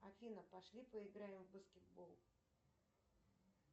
афина пошли поиграем в баскетбол